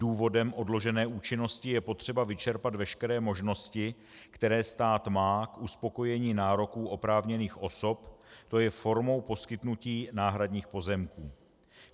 Důvodem odložené účinnosti je potřeba vyčerpat veškeré možnosti, které stát má k uspokojení nároků oprávněných osob, to je formou poskytnutí náhradních pozemků.